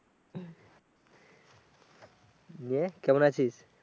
ইয়ে কেমন আছিস